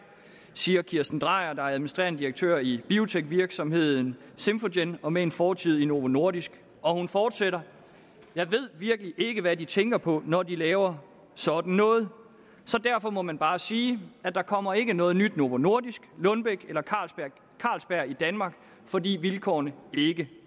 siger kirsten drejer der er administrerende direktør i biotekvirksomheden symphogen og med en fortid i novo nordisk og hun fortsætter jeg ved virkelig ikke hvad de tænker på når de laver sådan noget så derfor må man bare sige at der kommer ikke noget nyt novo nordisk lundbeck eller carlsberg i danmark fordi vilkårene ikke